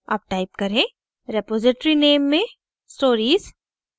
अब type करें: repository name में stories